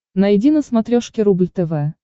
найди на смотрешке рубль тв